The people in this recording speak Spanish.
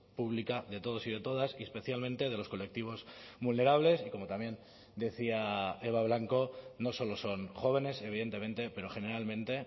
pública de todos y de todas y especialmente de los colectivos vulnerables y como también decía eba blanco no solo son jóvenes evidentemente pero generalmente